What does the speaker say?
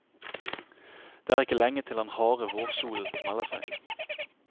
Det er ikke lenge til den harde vårsolen melder seg.